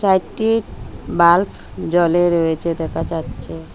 চারটি বাল্বফ জ্বলে রয়েছে দেখা যাচ্ছে।